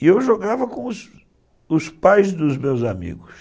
e eu jogava com os pais dos meus amigos.